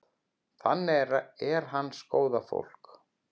Þannig er hans góða fólk.